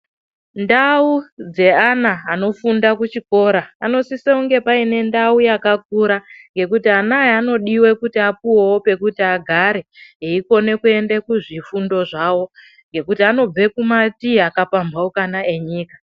Ndau dzeana anofunda kuchikora, panosise kunge pane ndau yakakura yekuti anaya anodiwa kuti apuwewo pekuti agare eikone kuende kuzvifundo zvavo ngekuti anobve kumativi akapamhaukana enyika.